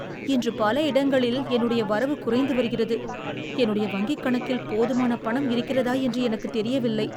இன்று பல இடங்களில் என்னுடைய வரவு குறைந்து வருகிறது. என்னுடைய வங்கிக் கணக்கில் போதுமான பணம் இருக்கிறதா என்று எனக்குத் தெரியவில்லை.